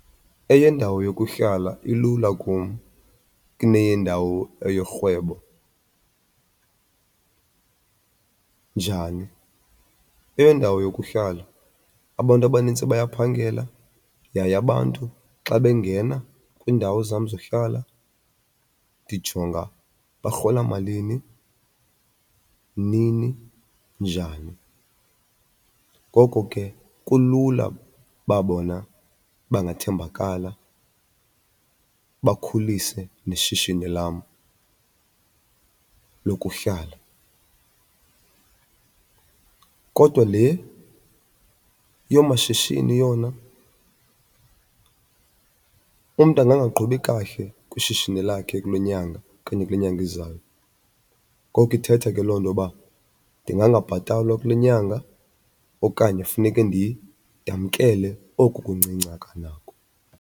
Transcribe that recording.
Eyendawo yokuhlala ilula kum kuneyendawo eyorhwebo. Njani? Eyendawo yokuhlala abantu abanintsi bayaphangela yaye abantu xa bengena kwiindawo zam zohlala ndijonga barhola malini, nini, njani. Ngoko ke kulula uba bona bangathembakala bakhulise neshishini lam lokuhlala. Kodwa le yoomashishini yona umntu angangaqhubi kakuhle kwishishini lakhe kule nyanga okanye kule nyanga izayo. Ngoko ithetha ke loo nto uba ndingangabhatalwa kule nyanga okanye funeke ndamkele oku kuncinci anganako.